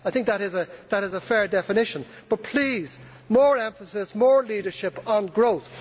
I think that is a fair definition, but please, more emphasis, more leadership, on growth.